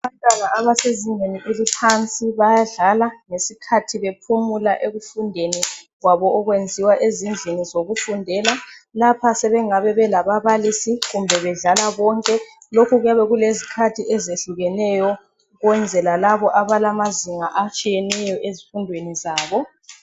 Abantwana abasezingeni eliphansi bayadlala ngesikhathi bephumula efundeni kwabo okwenziwa ezindlini zokufundela. Lapha sebengabe belababalisi kumbe bedlala bonke lokhu kuyabe kulezikhathi ezehlukeneyo ukwenzela labo abalamazinga atshiyeneyo ezifundweni zabo.